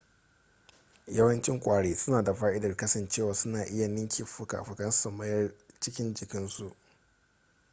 yawancin kwari suna da fa'idar kasancewa suna iya ninke fuka-fukansu su mayar jikin su